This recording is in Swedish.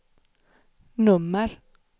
nummer